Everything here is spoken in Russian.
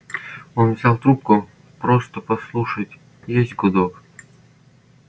он взял трубку просто послушать есть гудок